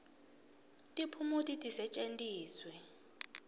tiphumuti tisetjentiswe